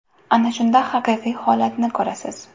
Ana shunda haqiqiy holatni ko‘rasiz.